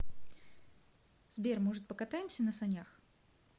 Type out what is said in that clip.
сбер может покатаемся на санях